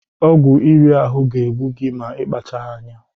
Ọgwụ iri ahụ ga-egbu gi ma ịkpachaghị anya.